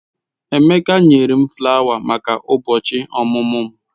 Emeka nyere m flawa maka ụbọchị ọmụmụ m.